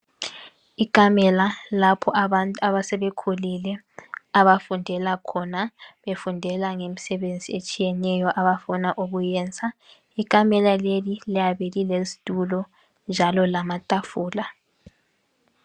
Ikamela lapho abantu abasebekhulile abafundela khona, befundela ngemisebenzi etshiyeneyo abafuna ukuyenza, ikamela leli liyabe lilezitulo njalo lamatafula.